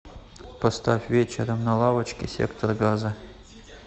поставь вечером на лавочке сектор газа